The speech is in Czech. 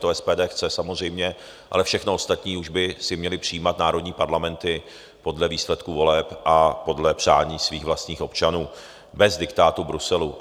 To SPD chce, samozřejmě, ale všechno ostatní už by si měly přijímat národní parlamenty podle výsledku voleb a podle přání svých vlastních občanů bez diktátu Bruselu.